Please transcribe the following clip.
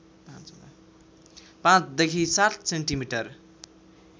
५ देखि ७ सेन्टिमिटर